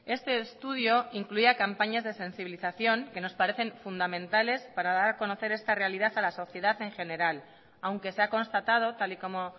este estudio incluía campañas de sensibilización que nos parecen fundamentales para dar a conocer esta realidad a la sociedad en general aunque se ha constatado tal y como